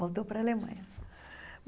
Voltou para a Alemanha.